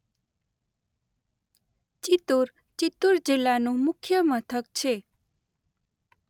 ચિત્તૂર ચિત્તૂર જિલ્લાનું મુખ્ય મથક છે.